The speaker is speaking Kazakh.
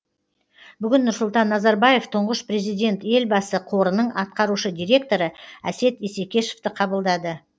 бүгін нұрсұлтан назарбаев тұңғыш президент елбасы қорының атқарушы директоры әсет исекешевті қабылдады